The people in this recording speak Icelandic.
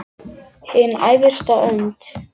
Hin æðsta hönd.